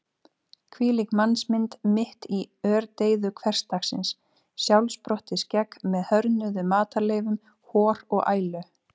Hvílík mannsmynd mitt í ördeyðu hversdagsins: sjálfsprottið skegg með hörðnuðum matarleifum, hor og ælu.